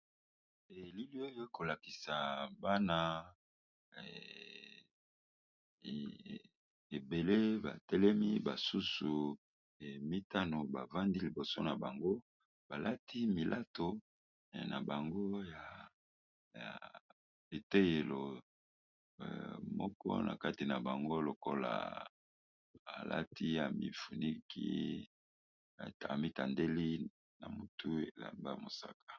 Elili oyo ekolakisa Bana ebele batelemi ba susu mitano bavandi liboso nabango balati milato nabango ya etelelo moko nataki yabango lokola amitandeli na mutu elamba ya mosaka.